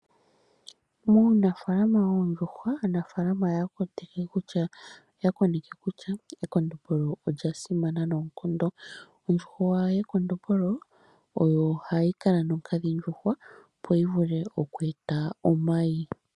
Muunafaalama woondjuhwa, aanafaalama oya kondje kutya ekondombolo olya simana noonkondo. Ondjuhwa yekondombolo oyo ohayi nonkadhindjuhwa opo yivule okweeta omayi.